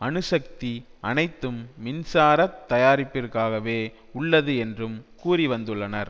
அணு சக்தி அனைத்தும் மின்சாரத் தயாரிப்பிற்காகவே உள்ளது என்றும் கூறி வந்துள்ளனர்